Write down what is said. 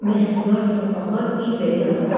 Məhsuldar torpaqlar ilbəil azalır.